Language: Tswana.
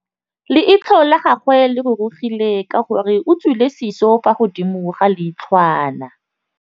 Leitlhô la gagwe le rurugile ka gore o tswile sisô fa godimo ga leitlhwana.